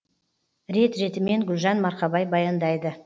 рет ретімен гүлжан марқабай баяндайды